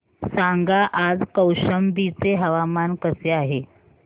सांगा आज कौशंबी चे हवामान कसे आहे